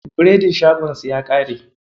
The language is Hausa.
Biredin shagon su ya ƙare.